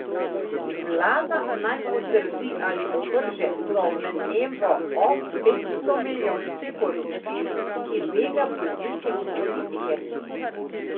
Vlada naj potrdi ali ovrže domnevo o petstomilijonski korupciji, ki bega bolnike in politike.